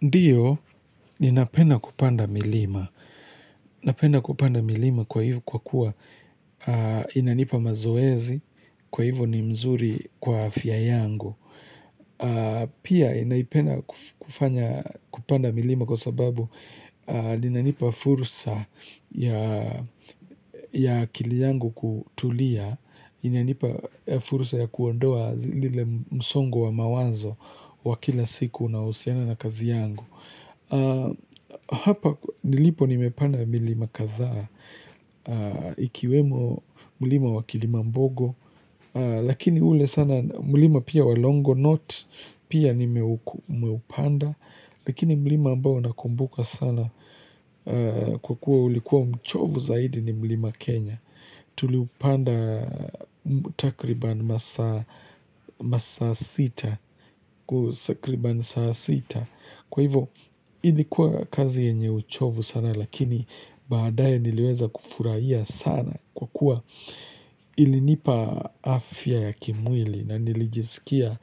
Ndiyo, ninapenda kupanda milima. Ninapenda kupanda milima kwa hiyo kwa kuwa inanipa mazoezi, kwa hivmyo ni mzuri kwa afya yangu. Pia, inaipenda kupanda milima kwa sababu ninanipa fursa ya akili yangu kutulia, inanipa fursa ya kuondoa ile msongo wa mawanzo wa kila siku unaohusiana na kazi yangu. Hapa nilipo nimepanda milima kadhaa ikiwemo mlima wa kilimambogo lakini ule sana mlima pia wa longonot pia nimeupanda lakini mlima ambao naukumbuka sana kwa kuwa ulikuwa mchovu zaidi ni mlima Kenya tuliupanda takriban masaa sita kutakriban saa sita Kwa hivyo hili ilikuwa kazi yenye uchovu sana lakini baadae niliweza kufurahia sana kwa kuwa ilinipa afya ya kimwili na nilijiskia